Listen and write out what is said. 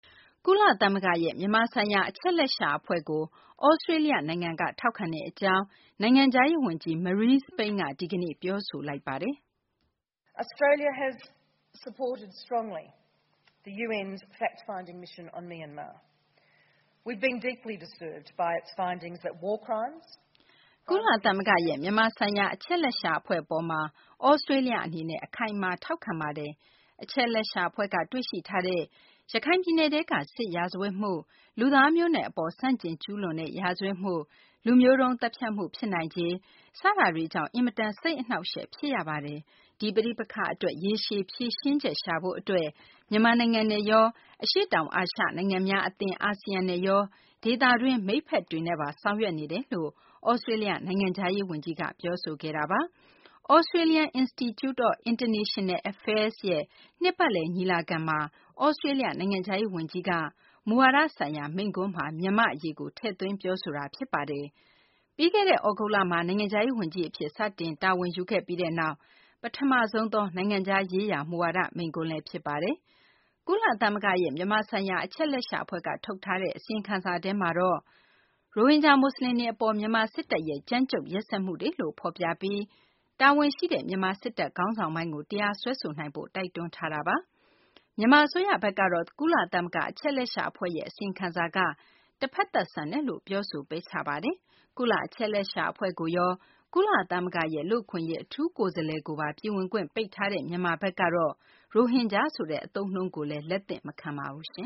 ကုလသမဂ္ဂရဲ့ မြန်မာဆိုင်ရာ အချက်အလက်ရှာ အဖွဲ့ကို သြစတေးလျ နိုင်ငံက ထောက်ခံကြောင်း နိုင်ငံခြားရေး ဝန်ကြီး Marise Payne က ဒီကနေ့ ပြောဆိုလိုက်ပါတယ်။ "ကုလသမဂ္ဂရဲ့ မြန်မာဆိုင်ရာ အချက်အလက်ရှာ အဖွဲ့ အပေါ်မှာ သြစတေးလျ အနေနဲ့ အခိုင်အမာ ထောက်ခံထားပါတယ်။ အချက်အလက်ရှာ အဖွဲ့က တွေ့ရှိထားတဲ့ ရခိုင်ပြည်နယ်ထဲက စစ်ရာဇဝတ်မှု၊ လူသားမျိုးနွယ် အပေါ် ဆန့်ကျင်ကျူးလွန်တဲ့ ရာဇဝတ်မှု၊ လူမျိုးတုန်း သတ်ဖြတ်မှု ဖြစ်နိုင်ခြေ စတာတွေကြောင့် အင်မတန် စိတ်အနှောင့်အယှက် ဖြစ်ရပါတယ်။ ဒီ ပဋိပက္ခ အတွက် ရေရှည် ဖြေရှင်းချက် ရှာဖို့ အတွက် မြန်မာနိုင်ငံနဲ့ရော၊ အရှေ့တောင်အာရှ နိုင်ငံများ အသင်း အာဆီယံနဲ့ရော ဒေသတွင်း မိတ်ဖက်တွေနဲ့ပါ ဆောင်ရွက်နေပါတယ်" လို့ သြစတေးလျ နိုင်ငံခြားရေး ဝန်ကြီးက ပြောဆိုခဲ့တာပါ။ Australian Institute of International Affairs ရဲ့ နှစ်ပတ်လည် ညီလာခံမှာ သြစတေးလျ နိုင်ငံခြားရေး ဝန်ကြီးက မူဝါဒဆိုင်ရာ မိန့်ခွန်းမှာ မြန်မာ့ အရေးကို ထည့်သွင်း ပြောဆိုသွားတာ ဖြစ်ပါတယ်။ ပြီးခဲ့တဲ့ သြဂုတ်လမှာ နိုင်ငံခြားရေး ဝန်ကြီး အဖြစ် စတင်တာဝန်ယူခဲ့ပြီးနောက် ပထမဆုံးသော နိုင်ငံခြားရေးရာ မူဝါဒ မိန့်ခွန်းလည်း ဖြစ်ပါတယ်။ ကုလသမဂ္ဂရဲ့ မြန်မာ ဆိုင်ရာအချက်အလက်ရှာ အဖွဲ့က ထုတ်ထားတဲ့ အစီရင်ခံစာထဲမှာတော့ ရိုဟင်ဂျာ မူဆလင်တွေ အပေါ် မြန်မာ စစ်တပ်ရဲ့ ကြမ်းကြုတ်ရက်စက်မှုတွေလို့ ဖော်ပြပြီး တာဝန်ရှိတဲ့ မြန်မာ စစ်တပ် ခေါင်းဆောင်ပိုင်းကို တရားစွဲဆိုနိုင်ဖို့ တိုက်တွန်းထားတာပါ။ မြန်မာ အစိုးရဘက်ကတော့ ကုလသမဂ္ဂ အချက်အလက်ရှာ အဖွဲ့ရဲ့ အစီရင်ခံစာက တဖက်သတ် ဆန်တယ်လို့ ပြောဆို ပယ်ချထားပါတယ်။ ကုလ အချက်အလက်ရှာ အဖွဲ့ကိုရော ကုလသမဂ္ဂရဲ့ လူ့အခွင့်အရေး အထူးကိုယ်စားလှယ်ကိုပါ ပြည်ဝင်ခွင့် ပိတ်ထားတဲ့ မြန်မာဘက်ကတော့ ရိုဟင်ဂျာဆိုတဲ့ အသုံးအနှုန်းကိုလည်း လက်သင့်မခံပါဘူး။